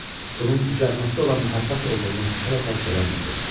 Bunun cücərməkdə olan məhəbbət olduğunu hələ dərk eləmirdi.